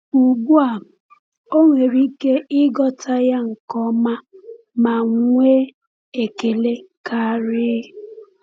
Ugbu a, o nwere ike ịghọta ya nke ọma ma nwee ekele karị.”